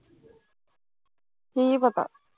ਕੀ ਪਤਾ